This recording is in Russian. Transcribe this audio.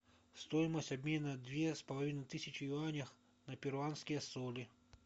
стоимость обмена две с половиной тысячи юаней на перуанские соли